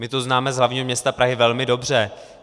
My to známe z hlavního města Prahy velmi dobře.